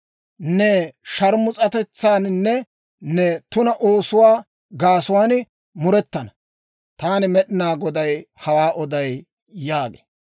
Ne sharmus'atetsaaninne ne tuna oosotuwaa gaasuwaan murettana. Taani Med'inaa Goday hawaa oday» yaagee.